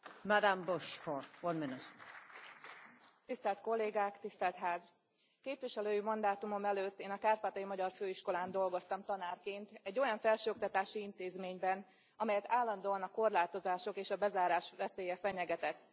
Elnök Asszony, tisztelt Kollégák, tisztelt Ház! Képviselői mandátumom előtt én a kárpátaljai magyar főiskolán dolgoztam tanárként, egy olyan felsőoktatási intézményben, amelyet állandóan a korlátozások és a bezárás veszélye fenyegetett.